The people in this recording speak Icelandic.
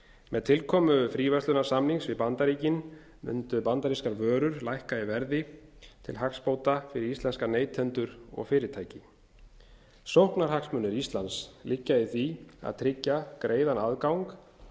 með tilkomu fríverslunarsamnings við bandaríkin mundu bandarískar vörur lækka í verði til hagsbóta fyrir íslenska neytendur og fyrirtæki sóknarhagsmunir íslands liggja í því að tryggja greiðan aðgang að